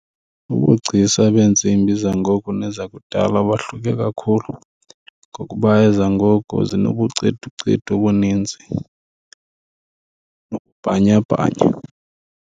Ububugcisa beentsimbi zangoku nezakudala bahluke kakhulu ngokuba ezangoku zinobuceducedu obuninzi nobubhanyabhanya.